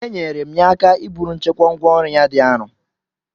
Enyere m ya aka iburu nchekwa ngwá ọrụ ya dị arọ